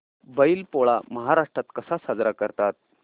बैल पोळा महाराष्ट्रात कसा साजरा करतात